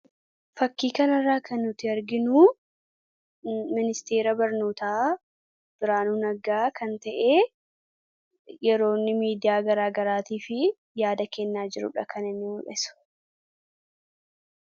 Fakkii kanirraa kan nutti arginuu ministeera barnootaa Biraanu Naggaa kan ta'e yeroonni miidiyaa garaagaraatii fi yaada kennaa jirudha kan inni mul'isu.